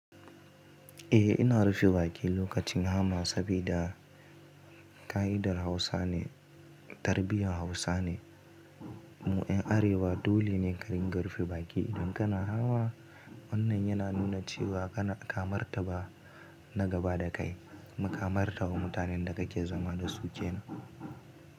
Eh, ina rufe baki lokacin hama sabida ka'idar Hausa ne, tarbiyyar Hausa ne. Mu ‘yan Arewa dole ne karinga rufi baki idan kana hamma. Wannan yana nuna cewa kana kamartaba na gaba da kai, kumu kamartaba mutanen da kake zama da su ke nan.